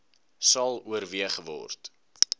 sal oorweeg word